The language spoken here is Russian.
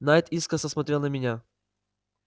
найд искоса смотрел на меня